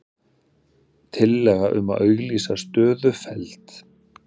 Tillaga um að auglýsa stöðu felld